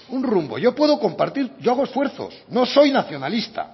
un rumbo yo puedo compartir yo hago esfuerzo no soy nacionalista